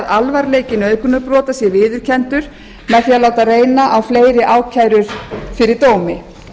alvarleiki nauðgunarbrota sé viðurkenndur og látið reyna á fleiri mál fyrir dómi